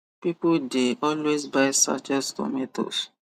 people the always buy sachet tomatoes